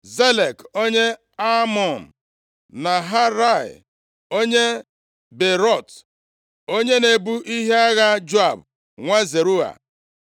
Zelek, onye Amọn, Naharai, onye Beerọt, onye na-ebu ihe agha Joab nwa Zeruaya,